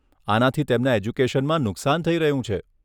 આનાથી તેમના એજ્યુકેશનમાં નુકશાન થઈ રહ્યું છે.